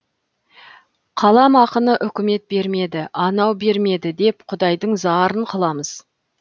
қаламақыны үкімет бермеді анау бермеді деп құдайдың зарын қыламыз